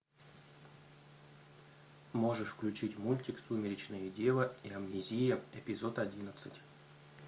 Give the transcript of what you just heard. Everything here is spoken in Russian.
можешь включить мультик сумеречная дева и амнезия эпизод одиннадцать